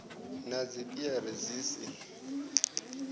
na dzi piere dzi si